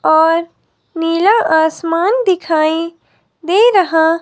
और नीला आसमान दिखाई दे रहा--